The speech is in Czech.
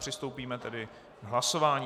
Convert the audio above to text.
Přistoupíme tedy k hlasování.